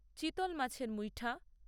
চিতল মাছের মুইঠা